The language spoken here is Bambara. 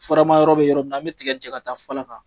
Faramayɔrɔ bɛ yɔrɔ min an bɛ tiga cɛ ka taa fara kan